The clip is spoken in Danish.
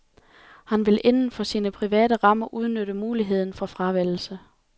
Han vil inden for sine private rammer udnytte muligheden for fravælgelse.